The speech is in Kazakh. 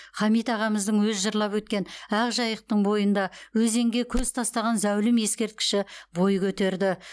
хамит ағамыздың өзі жырлап өткен ақ жайықтың бойында өзенге көз тастаған зәулім ескерткіші бой көтерді